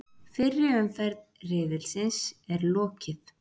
Fyrri umferð riðilsins er lokið